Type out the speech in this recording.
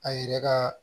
A yɛrɛ ka